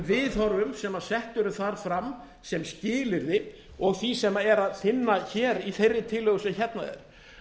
viðhorfum sem sett eru þar fram sem skilyrði og því sem er að finna í þeirri tillögu sem hérna er